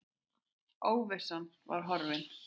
Óvissan var horfin.